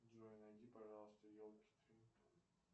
джой найди пожалуйста елки три